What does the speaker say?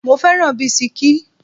Mo fẹ́ràn bisikí.